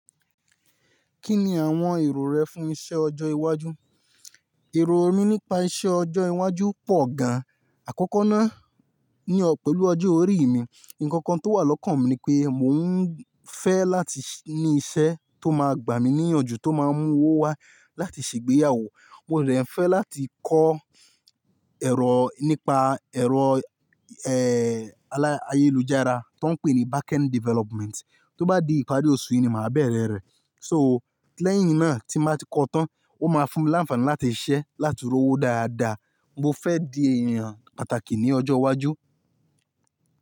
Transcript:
Kí ni àwọn èrò rẹ fún iṣẹ́ ọjọ́ iwájú? Èrò mi nípa iṣẹ́ ọjọ́ iwájú pọ̀ gan-an, àkọ́kọ́ náà ni pẹ̀lú ọjọ́ orí mi. Ǹkan kan tó wà lọ́kàn mi ni pé mò ń fẹ́ láti ní iṣẹ́ tó máa gbà mí níyànjú tó máa ń mú owó wá láti ṣègbéyàwó. Mò dẹ̀ ń fẹ́ láti kọ́ ẹ̀rọ nípa ẹ̀rọ, ayélujára tó ń pè ní back end development. Tó bá di ìparí oṣù yìí ni màá bẹ̀rẹ̀ rẹ̀. So lẹ́yìn náà tí màá ti kọ́ ọ́ tán, ó máa fún mi láǹfààní láti ṣiṣẹ́ láti sanwó dáadáa. Mo fẹ́ di ènìyàn pàtàkì ní ọjọ́ iwájú.